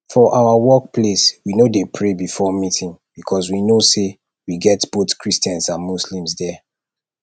for our workplace we no dey pray before meeting because we know say we get both christians and muslims there